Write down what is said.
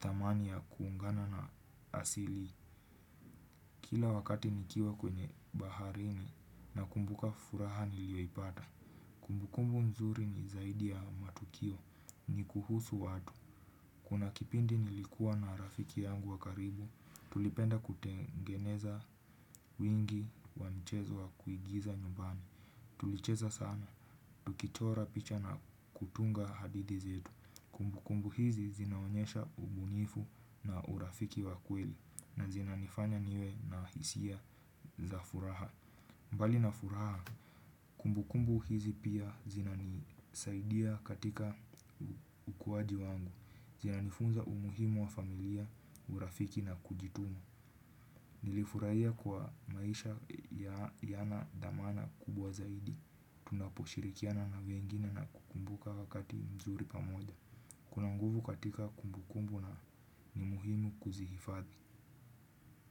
thamani ya kuungana na asili. Kila wakati nikiwa kwenye baharini nakumbuka furaha nilioipata. Kumbu kumbu mzuri ni zaidi ya matukio ni kuhusu watu. Kuna kipindi nilikuwa na rafiki yangu wa karibu, tulipenda kutengeneza wingi wa mchezo wa kuigiza nyumbani. Tulicheza sana, tukichora picha na kutunga hadithi zetu. Kumbu kumbu hizi zinaonyesha ubunifu na urafiki wa kweli na zina nifanya niwe na hisia za furaha. Mbali na furaha, kumbu kumbu hizi pia zinanisaidia katika ukuwaji wangu. Zinanifunza umuhimu wa familia, urafiki na kujituma. Nilifurahia kuwa maisha yana dhamana kubwa zaidi. Tunaposhirikiana na wengine na kukumbuka wakati mzuri pamoja. Kuna nguvu katika kumbu kumbu na ni muhimu kuzihifadhi.